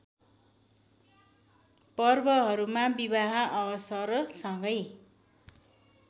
पर्वहरूमा विवाह अवसरसँगै